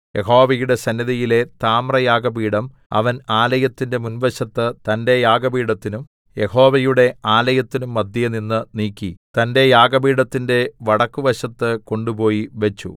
യഹോവയുടെ സന്നിധിയിലെ താമ്രയാഗപീഠം അവൻ ആലയത്തിന്റെ മുൻവശത്ത് തന്റെ യാഗപീഠത്തിനും യഹോവയുടെ ആലയത്തിനും മദ്ധ്യേനിന്ന് നീക്കി തന്റെ യാഗപീഠത്തിന്റെ വടക്കുവശത്ത് കൊണ്ട് പോയി വെച്ചു